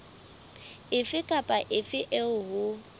efe kapa efe eo ho